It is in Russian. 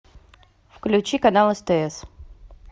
включи канал стс